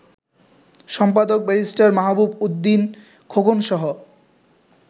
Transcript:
সম্পাদক ব্যারিস্টার মাহবুব উদ্দিন খোকনসহ